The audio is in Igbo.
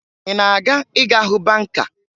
Ị na-aga ịga hụ banka?